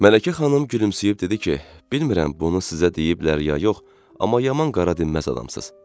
Mələkə xanım gülümsüyüb dedi ki, bilmirəm bunu sizə deyiblər ya yox, amma yaman qara dinməz adamsınız.